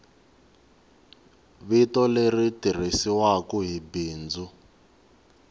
vito leri tirhisiwaku hi bindzu